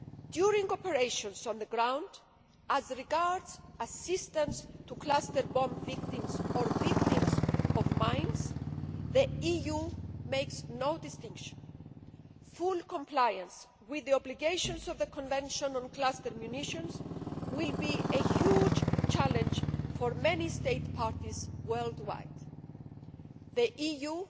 During operations on the ground, as regards assistance to cluster bomb victims or victims of mines, the EU makes no distinction. Full compliance with the obligations of the Convention on Cluster Munitions will be a huge challenge for many State Parties worldwide. The